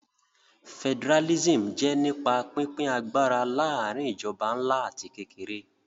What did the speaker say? Federalism jẹ́ nípa pínpín agbára láàrin ìjọba ńlá àti kékeré